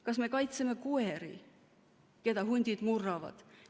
Kas me kaitseme koeri, keda hundid murravad?